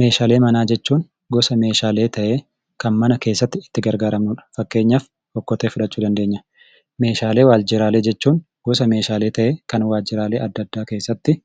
Meeshaalee manaa jechuun gosa meeshaalee ta'ee kan mana keessatti itti gargaaramnudha. Fakkeenyaaf okkotee fudhachuu dandeenya. Meeshaalee waajjiraalee jechuun gosa meeshaalee ta'ee kan waajjiraalee adda addaa keessatti